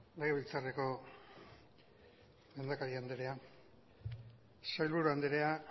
legebiltzarreko lehendakari andrea sailburu andrea